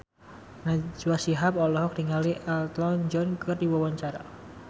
Najwa Shihab olohok ningali Elton John keur diwawancara